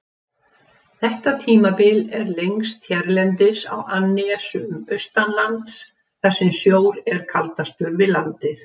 Þetta tímabil er lengst hérlendis á annesjum austanlands, þar sem sjór er kaldastur við landið.